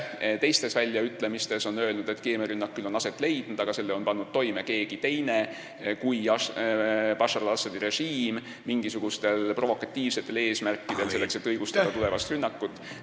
Teistes väljaütlemistes on ta aga öelnud, et keemiarünnak on küll aset leidnud, aga selle on pannud toime keegi muu kui Bashar al-Assadi režiim mingisugustel provokatiivsetel eesmärkidel, selleks et õigustada tulevast rünnakut.